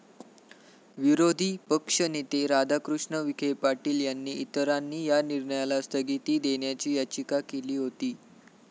विरोधी पक्षनेते राधाकृष्ण विखे पाटील आणि इतरांनी या निर्णयाला स्थगिती देण्याची याचिका केली होती.